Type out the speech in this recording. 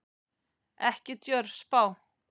Ekki djörf spá.